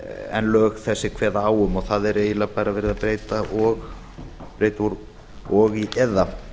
en lög þessi kveða á um og þar er eiginlega bara verið að breyta og í eða